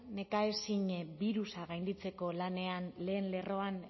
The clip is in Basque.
nekaezin birusa gainditzeko lanean lehen lerroan